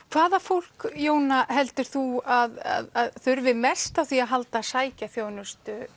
hvaða fólk Jóna heldur þú að þurfi mest á því að halda að sækja þjónustu